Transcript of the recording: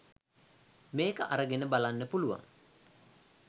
මේක අරගෙන බලන්න පුළුවන්.